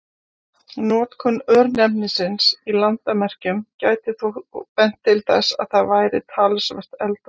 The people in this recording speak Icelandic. Notkun örnefnisins í landamerkjum gæti þó bent til þess að það væri talsvert eldra.